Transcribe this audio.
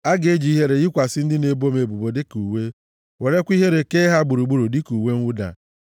A ga-eji ihere yikwasị ndị na-ebo m ebubo dịka uwe werekwa ihere kee ha gburugburu dịka uwe mwụda.